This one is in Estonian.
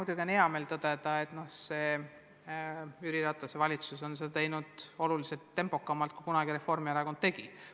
Samas on hea meel tõdeda, et see Jüri Ratase valitsus on seda teinud oluliselt tempokamalt, kui kunagi Reformierakond tegi.